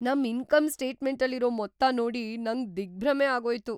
ನಮ್ ಇನ್ಕಮ್ ಸ್ಟೇಟ್‌ಮೆಂಟಲ್ಲಿರೋ ಮೊತ್ತ ನೋಡಿ ನಂಗ್‌ ದಿಗ್ಭ್ರಮೆ ಆಗೋಯ್ತು.